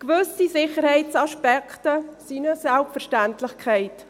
Gewisse Sicherheitsaspekte sind natürlich eine Selbstverständlichkeit.